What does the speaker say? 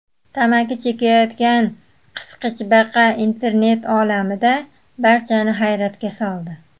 Tamaki chekayotgan qisqichbaqa internet olamida barchani hayratga soldi .